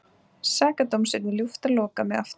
Sakadóms yrði ljúft að loka mig aftur inni.